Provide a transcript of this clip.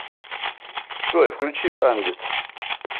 джой включи андид